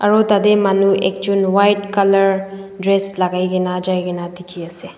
aru tade manu ekjun white color dress lagai gina jai gina dikhi ase.